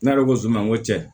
Ne yɛrɛ ko ko zon ma n ko cɛ